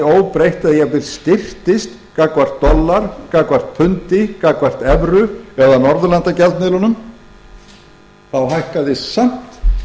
óbreytt eða jafnvel styrktist gagnvart dollara gagnvart pundi gagnvart evru eða norðurlandagjaldmiðlunum hækkuðu samt